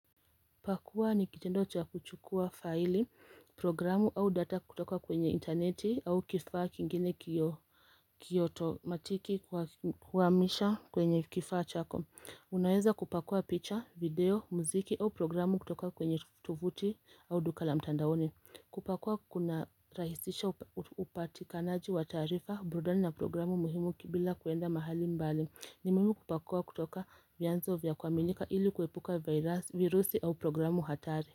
Pakua ni kitendo cha kuchukua file programu au data kutoka kwenye interneti au kifaa kingine kiyoto matiki kwamisha kwenye kifaa chako Unaweza kupakua picture video mziki au programu kutoka kwenye tufuti au dukala mtandaone kupakua kuna rahisisha upatikanaji watarifa brudani na programu muhimu bila kuenda mahali mbali ni muhimu kupakua kutoka vyanzo vya kwamika ili kuepuka virusi au programu hatari.